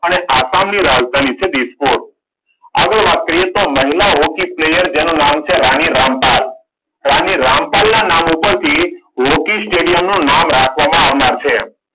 અને આસામ ની રાજધાની છે ડિસ્કોટ. આગળ વાત કરીએ તો મહિલા હોકી પ્લેયર જેનું નામ છે રાણી રામપાલ. રાણી રામપાલ ના નામ ઉપરથી હોકી સ્ટેડિયમનું નામ રાખવામાં આવનાર છે.